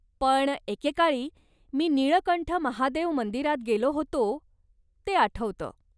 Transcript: पण एके काळी मी निळकंठ महादेव मंदिरात गेलो होतो ते आठवतं.